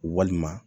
Walima